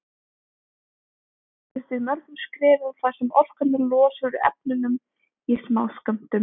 Niðurbrotið gerist í mörgum skrefum þar sem orkan er losuð úr efnunum í smáskömmtum.